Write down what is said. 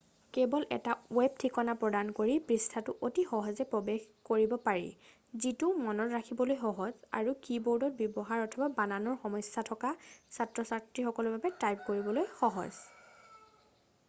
কেৱল এটা ৱেব ঠিকনা প্ৰদান কৰি পৃষ্ঠাটোত অতি সহজে প্ৰৱেশ কৰিব পাৰি যিটো মনত ৰাখিবলৈ সহজ আৰু কী-বোৰ্ড ব্যৱহাৰৰ অথবা বানানৰ সমস্যা থকা ছাত্ৰ-ছাত্ৰীসকলৰ বাবে টাইপ কৰিবলৈ সহজ